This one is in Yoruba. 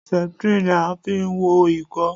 Septrin ni a fi ń wo Ìkọ́.